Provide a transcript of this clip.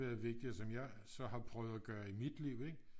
Har været vigtig og som jeg så har prøvet at gøre i mit liv ikke